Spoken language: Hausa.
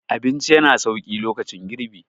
abinci yana sauki lokacin girbi